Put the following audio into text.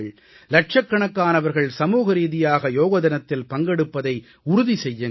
லட்சக்கணக்கானவர்கள் சமூகரீதியாக யோகதினத்தில் பங்கெடுப்பதை உறுதி செய்யுங்கள்